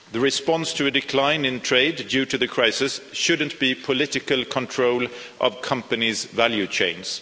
The response to a decline in trade due to the crisis shouldn't be political control of companies' value chains.